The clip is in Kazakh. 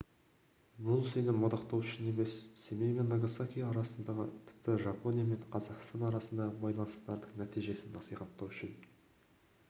бұл сені мадақтау үшін емес семей мен нагасаки арасындағы тіпті жапония мен қазақстан арасындағы байланыстардың нәтижесін насихаттау үшін